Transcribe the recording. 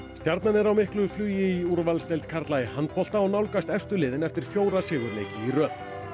stjarnan er á miklu flugi í úrvalsdeild karla í handbolta og nálgast efstu liðin eftir fjóra sigurleiki í röð